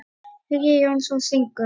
Hugi Jónsson syngur.